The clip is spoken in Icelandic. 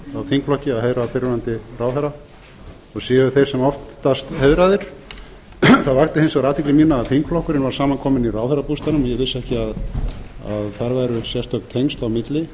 þingflokki að heiðra fyrrverandi ráðherra og séu þeir sem oftast heiðraðir það vakti hins vegar athygli mína að þingflokkurinn var samankominn í ráðherrabústaðnum en ég vissi ekki að þar væru sérstök tengsl á milli